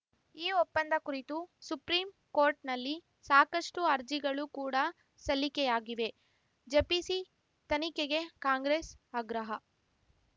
ಈ ಒಪ್ಪಂದ ಕುರಿತು ಸುಪ್ರೀಂಕೋರ್ಟ್ ನಲ್ಲಿ ಸಾಕಷ್ಟುಅರ್ಜಿಗಳು ಕೂಡ ಸಲ್ಲಿಕೆಯಾಗಿವೆ ಜೆಪಿಸಿ ತನಿಖೆಗೆ ಕಾಂಗ್ರೆಸ್‌ ಆಗ್ರಹ